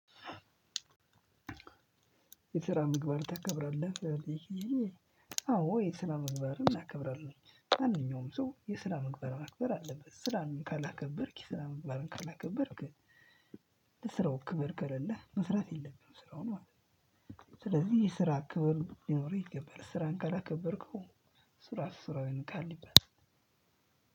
የስራ ምግባር ታከብራለህ? አዎ የስራ ምግባርን አከብራለው። ማንኛውም ሰው የስራ ምግባር ማክበር አለበት። ስራህን ካላከበርክ የስራ ምግባርን ካላከበርክ ለስራው ክብር ከሌለህ መስራት የለብኝም ስራውን ማለት ነው። ስለዚህ የስራ ክብር ሊኖርህ ይገባል። ስራህን ካላከበርከው ስራ ስራውን ይንቃል ይባላል።